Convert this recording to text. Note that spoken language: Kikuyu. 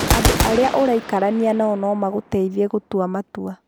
Andũ arĩa ũraikarania nao no magũteithie gũtua matua.